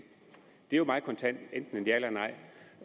det er jo meget kontant enten et ja eller nej